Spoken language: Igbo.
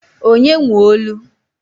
Onye nwe olu?